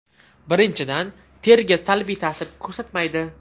Birinchidan teriga salbiy ta’sir ko‘rsatmaydi.